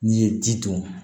N'i ye ji dun